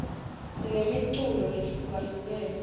sinemiculo lehlukahlukene